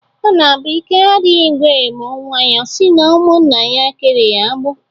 Ọ na-abụ ike adịghị ngwere mụọ nwa ọ si na ụmụnna ya kere ya agbụ?